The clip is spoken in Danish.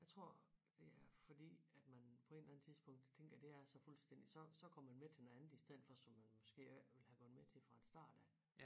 Jeg tror at det er fordi at man på en eller anden tidspunkt tænker det er så fuldstændig så så går man med til noget andet i stedet for som man måske ikke ville have gået med til fra en start af